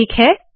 ठीक है